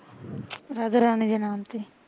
ਰਾਧਾ ਰਾਣੀ ਦੇ ਨਾਮ ਤੇ